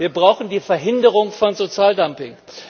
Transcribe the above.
Wir brauchen die Verhinderung von Sozialdumping.